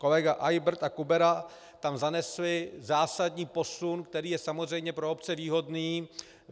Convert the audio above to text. Kolega Eybert a Kubera tam zanesli zásadní posun, který je samozřejmě pro obce výhodný.